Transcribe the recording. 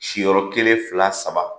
Si yɔrɔ kelen, fila ,saba.